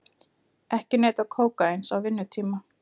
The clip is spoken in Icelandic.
Ekki neyta kókaíns á vinnutíma